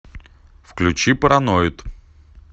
включи параноид